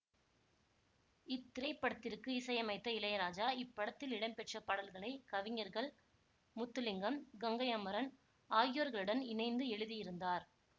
இத்திரைப்படத்திற்கு இசையமைத்த இளையராஜா இப்படத்தில் இடம்பெற்ற பாடல்களை கவிஞர்கள் முத்துலிங்கம் கங்கை அமரன் ஆகியோர்களுடன் இணைந்து எழுதியிருந்தார்